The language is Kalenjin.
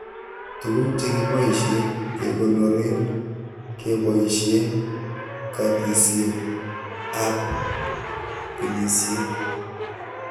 Tuguk che kiboishen kekonoren keboishen katisiek ab binisiek